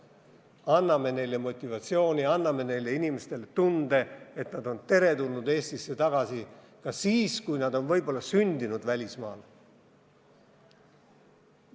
Anname neile motivatsiooni, anname neile inimestele tunde, et nad on teretulnud Eestisse tagasi ka siis, kui nad on võib-olla sündinud välismaal.